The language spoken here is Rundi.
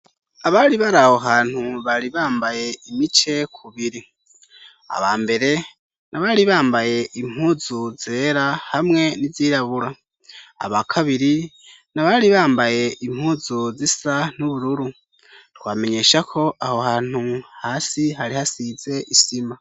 Abari bari aho hantu bari bambaye imice ku biri aba mbere nabari bambaye impuzu zera hamwe n'izirabura aba kabiri nabari bambaye impuzu zisa n'ubururu twamenyesha ko aho hantu hasi hari hasize isima.